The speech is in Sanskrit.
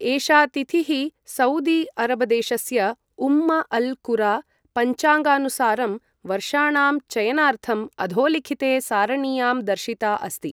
एषा तिथिः सऊदी अरबदेशस्य उम्म अल् कुरा पञ्चाङ्गानुसारं वर्षाणां चयनार्थं अधोलिखिते सारणीयां दर्शिता अस्ति ।